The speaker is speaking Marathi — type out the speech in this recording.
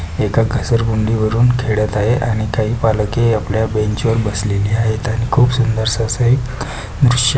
एका घसरगुंडी वरुन खेळत आहे आणि काही पालके आपल्या बेंच वर बसलेली आहेत आणि खुप सुंदर स अस एक दृश्य --